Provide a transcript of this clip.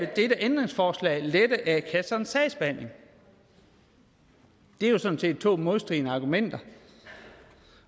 dette ændringsforslag lette a kassernes sagsbehandling det er jo sådan set to modstridende argumenter